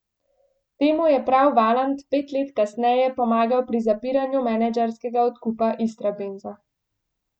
Temu je prav Valant pet let kasneje pomagal pri zapiranju menedžerskega odkupa Istrabenza.